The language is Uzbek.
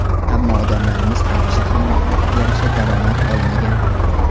Ammo odamlarimiz hamisha ham mehnatiga yarasha daromad olmagan.